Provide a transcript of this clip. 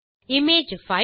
image file